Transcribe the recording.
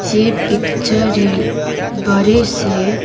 ये पिक्चर एक बड़े से--